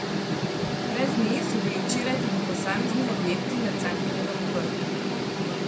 Brez nje so bili včeraj tudi posamezni objekti na Cankarjevem vrhu.